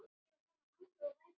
Grettir Hansson kom ekki.